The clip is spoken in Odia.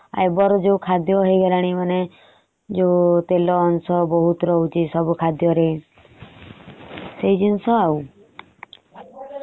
ଏବେ ର ଯୋଉ ଖାଦ୍ୟ ହେଇଗଲାଣି ମାନେ ତେଲ ଅଂଶ ବହୁତ ରହୁଛି ସବୁ ଖାଦ୍ୟ ରେ। ସେ ସବୁ ଜିନିଷ ଆଉ ।